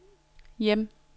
hjem